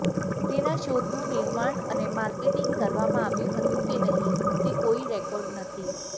તેના શોધનું નિર્માણ અને માર્કેટિંગ કરવામાં આવ્યું હતું કે નહીં તે કોઈ રેકોર્ડ નથી